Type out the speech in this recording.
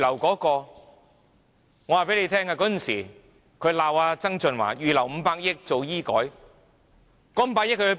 我告訴大家，當時他們罵曾俊華預留500億元進行醫改，那500億元在哪裏？